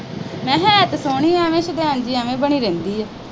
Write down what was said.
ਮੈਂ ਕਿਹਾ ਹੈ ਤਾਂ ਸੋਹਣੀ ਆ, ਐਵੇਂ ਹਨਾ ਬਣੀ ਰਹਿੰਦੀ ਆ।